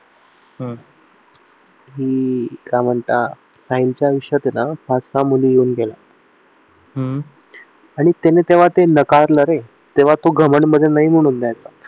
हम्म काय म्हणता त्यांच्या आयुष्यात ते ना पाच सहा मुली येऊन गेल्या आणि त्याने तेव्हा ते नाकारलं रे तेव्हा तो घमंड मध्ये नाही म्हणून चा